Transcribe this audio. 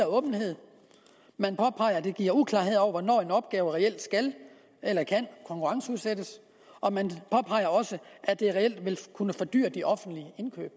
åbenhed man påpeger at det giver uklarhed over hvornår en opgave reelt skal eller kan konkurrenceudsættes og man påpeger også at det reelt vil kunne fordyre de offentlige indkøb